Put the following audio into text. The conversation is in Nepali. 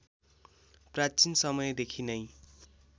प्राचीन समयदेखि नै